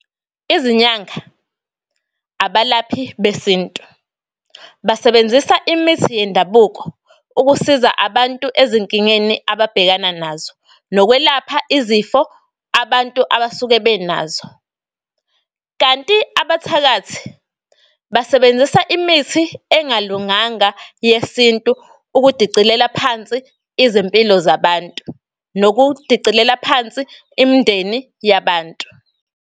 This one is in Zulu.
Izinyanga abalaphi besintu, basebenzisa imithi yendabuko ukusiza abantu ezinkingeni ababhekana nazo nokwelapha izifo abantu abasuke benazo. Kanti abathakathi basebenzisa imithi engalunganga yesintu, ukudicilela phansi izimpilo zabantu, nokudicilela phansi imndeni yabantu.